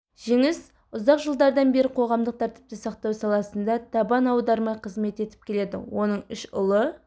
жеңіс ұзақ жылдардан бері қоғамдық тәртіпті сақтау саласында табан аудармай қызмет етіп келеді оның үш ұлы